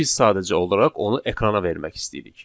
Biz sadəcə olaraq onu ekrana vermək istəyirik.